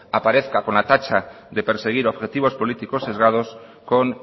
aparezca con la tacha de perseguir objetivos políticos sesgados con